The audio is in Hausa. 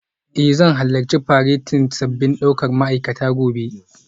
Eh zan halarci faretin sabbin daukar ma'aikata gobe